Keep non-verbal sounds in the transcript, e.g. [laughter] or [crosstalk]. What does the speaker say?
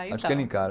[unintelligible] Acho que ele encara.